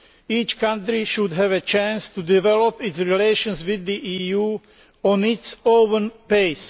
Each country should have a chance to develop its relations with the EU at its own pace.